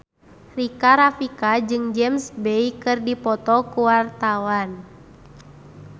Rika Rafika jeung James Bay keur dipoto ku wartawan